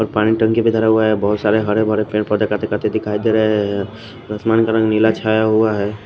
और पानी टंकी भी धरा हुआ है बहुत सरे हरे भरे पेड़ पौधे कटे कटे दिखाई दे रहे हैं आसमान का रंग नीला छाया हुआ है।